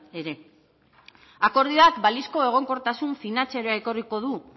ere akordioak balizko egonkortasun finantzarioa ekarriko du